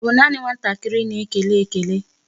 Ọ bụ naanị nwatakịrị na-ekele ekele?